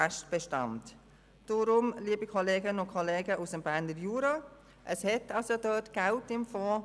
Deshalb, liebe Kollegen und Kollegen aus dem Jura: Es hat Geld in diesem Fonds.